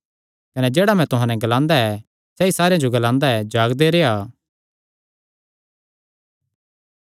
कने जेह्ड़ा मैं तुहां नैं ग्लादा ऐ सैई सारेयां जो ग्लादा ऐ जागदे रेह्आ